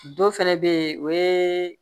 Dɔ fɛnɛ be yen o ye